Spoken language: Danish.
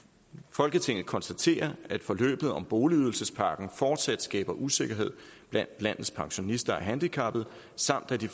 folketinget konstaterer at forløbet om boligydelsespakken fortsat skaber usikkerhed blandt landets pensionister og handicappede samt at de